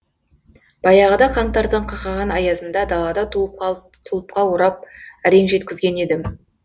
баяғыда қаңтардың қақаған аязында далада туып қалып тұлыпқа орап әрең жеткізген едім